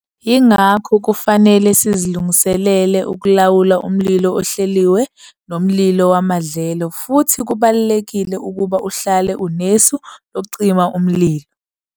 Yingakho kufanele sizilungiselele ukulawula umlilo ohlelilwe nomlilo wamadlelo futhi kubalulekile ukuba uhlale unesu lokucima umlilo.